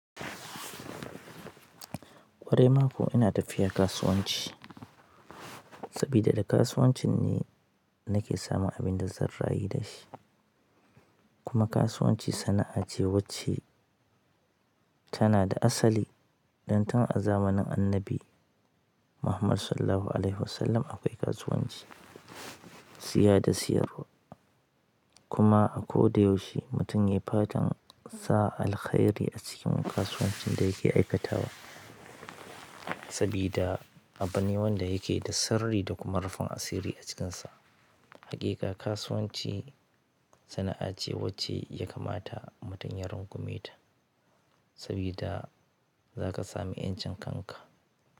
Ƙwarai ma kuwa ina tafiya kasuwanci sabida da kasuwancin ne nake samun abunda zan rayu dashi kuma kasuwanci sana'a ce wacce tanada asali dantun a zamanin Annabi Muhammad Sallallahu Alaihi Wasallam akwai kasuwanci, siya da siyarwa. Kuma a koda yaushe mutum ya yi fatan sa alkhairi a cikin kasuwancin da yake aikatawa. Sabida abune wanda yake da sirri da kuma rufin asiri a cikinsa. Haƙiƙa kasuwanci sana'a ce wacce ya kamata mutum ya rungumeta, sabida za ka sami ƴancin kanka.